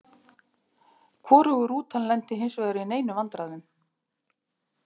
Hvorug rútan lenti hinsvegar í neinum vandræðum.